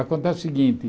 Acontece o seguinte.